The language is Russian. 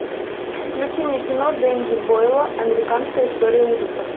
включи мне кино денди бойла американская история ужасов